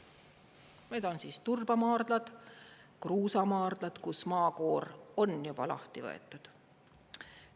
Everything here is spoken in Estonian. Need on siis turbamaardlad, kruusamaardlad, kus maakoor on juba lahti võetud.